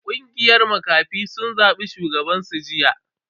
Kungiyar makafin sun zabi shugaban su jiya.